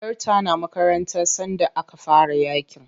Yar ta na makaranta sanda aka fara yaƙin.